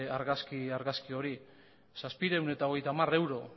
argazki hori zazpiehun eta berrogeita hamar euro